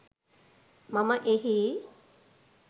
මම එහි